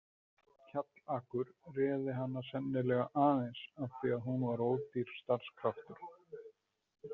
Kjallakur réð hana sennilega aðeins af því að hún var ódýr starfskraftur.